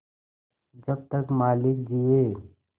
जब तक मालिक जिये